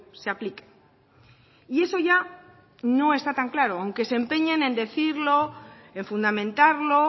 se aplique y eso ya no está tan claro aunque se empeñen en decirlo en fundamentarlo